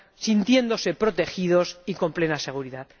sintiéndose protegidos y con plena seguridad.